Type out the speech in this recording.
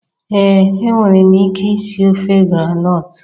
Ee enwere m ike isi ofe groundnut